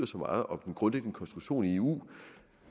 så meget om den grundlæggende konstruktion i eu